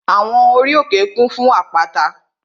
Àwọn ori òkè kún fún àpáta